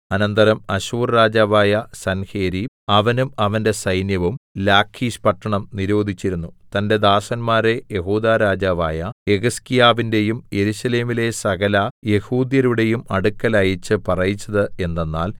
അനന്തരം അശ്ശൂർ രാജാവായ സൻഹേരീബ് അവനും അവന്റെ സൈന്യവും ലാഖീശ് പട്ടണം നിരോധിച്ചിരുന്നു തന്റെ ദാസന്മാരെ യെഹൂദാ രാജാവായ യെഹിസ്കീയാവിന്റെയും യെരൂശലേമിലെ സകലയെഹൂദ്യരുടെയും അടുക്കൽ അയച്ച് പറയിച്ചത് എന്തെന്നാൽ